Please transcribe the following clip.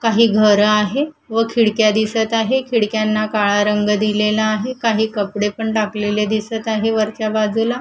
काही घरं आहे व खिडक्या दिसत आहे खिडक्यांना काळा रंग दिलेला आहे काही कपडे पण टाकलेले दिसत आहे वरच्या बाजूला--